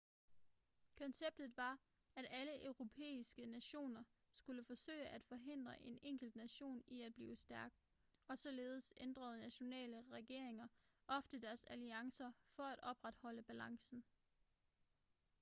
konceptet var at alle europæiske nationer skulle forsøge at forhindre en enkelt nation i at blive stærk og således ændrede nationale regeringer ofte deres alliancer for at opretholde balancen